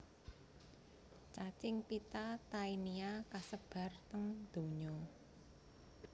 Cacing pita Taenia kasebar teng donya